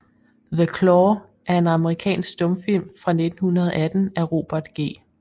The Claw er en amerikansk stumfilm fra 1918 af Robert G